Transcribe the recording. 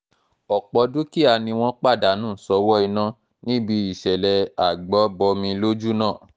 ọ̀pọ̀ dúkìá ni wọ́n pàdánù sọ́wọ́ iná níbi ìsẹ̀lẹ̀ agbo-bọmi lójú náà